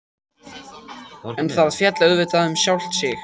En það féll auðvitað um sjálft sig.